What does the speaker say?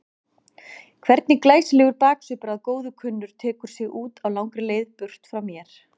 Hvernig glæsilegur baksvipur að góðu kunnur tekur sig út á langri leið burt frá mér.